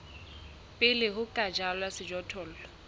pele ho ka jalwa sejothollo